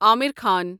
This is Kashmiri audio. عامر خان